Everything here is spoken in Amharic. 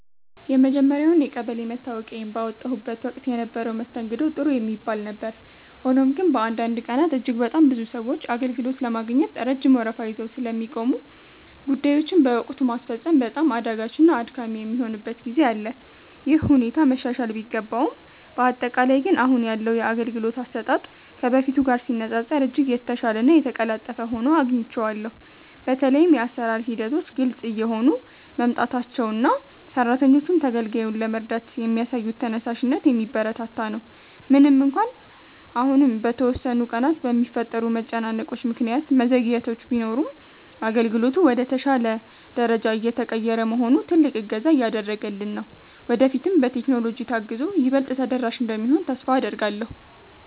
የመጀመርያውን የቀበሌ መታወቂያዬን ባወጣሁበት ወቅት የነበረው መስተንግዶ ጥሩ የሚባል ነበር። ሆኖም ግን፣ በአንዳንድ ቀናት እጅግ በጣም ብዙ ሰዎች አገልግሎት ለማግኘት ረጅም ወረፋ ይዘው ስለሚቆሙ፣ ጉዳዮችን በወቅቱ ማስፈጸም በጣም አዳጋችና አድካሚ የሚሆንበት ጊዜ አለ። ይህ ሁኔታ መሻሻል ቢገባውም፣ በአጠቃላይ ግን አሁን ያለው የአገልግሎት አሰጣጥ ከበፊቱ ጋር ሲነፃፀር እጅግ የተሻለና የተቀላጠፈ ሆኖ አግኝቼዋለሁ። በተለይም የአሰራር ሂደቶች ግልጽ እየሆኑ መምጣታቸውና ሰራተኞቹም ተገልጋዩን ለመርዳት የሚያሳዩት ተነሳሽነት የሚበረታታ ነው። ምንም እንኳን አሁንም በተወሰኑ ቀናት በሚፈጠሩ መጨናነቆች ምክንያት መዘግየቶች ቢኖሩም፣ አገልግሎቱ ወደ ተሻለ ደረጃ እየተቀየረ መሆኑ ትልቅ እገዛ እያደረገልን ነው። ወደፊትም በቴክኖሎጂ ታግዞ ይበልጥ ተደራሽ እንደሚሆን ተስፋ አደርጋለሁ።